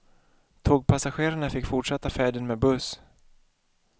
Tågpassagerarna fick fortsätta färden med buss.